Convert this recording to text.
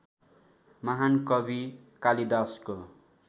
महान कवि कालिदासको